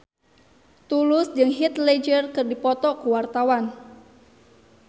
Tulus jeung Heath Ledger keur dipoto ku wartawan